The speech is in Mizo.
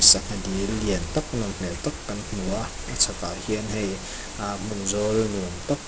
sangha dil lian tak nawm hmel tak kan hmu a kawng chhak ah hian hei ah hmun zawl nuam tak--